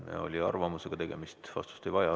Siin oli arvamusega tegemist, vastust ei ole vaja.